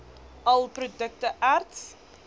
all produkte erts